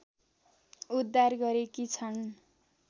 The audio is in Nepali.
उद्धार गरेकी छन्